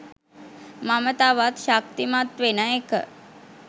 මම තවත් ශක්තිමත් වෙන එක.